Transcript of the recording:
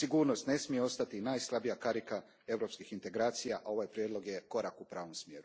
Sigurnost ne smije ostati najslabija karika europskih integracija, a ovaj prijedlog je korak u pravom smjeru.